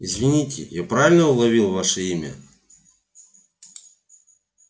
извините я правильно уловил ваше имя